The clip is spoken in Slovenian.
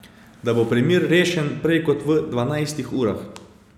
Da bo primer rešen prej kot v dvanajstih urah.